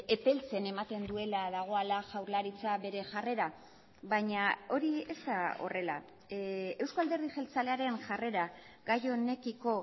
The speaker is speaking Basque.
epeltzen ematen duela dagoela jaurlaritza bere jarrera baina hori ez da horrela euzko alderdi jeltzalearen jarrera gai honekiko